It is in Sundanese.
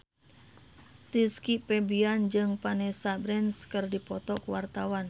Rizky Febian jeung Vanessa Branch keur dipoto ku wartawan